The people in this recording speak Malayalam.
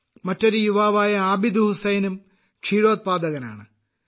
മറ്റൊരു യുവാവായ ആബിദ് ഹുസൈനും ക്ഷീരോത്പാദകനാണ്